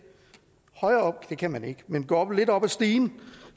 højere op det kan man ikke men gå lidt op ad stigen